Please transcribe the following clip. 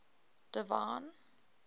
divine